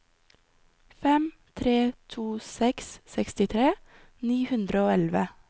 fem tre to seks sekstitre ni hundre og elleve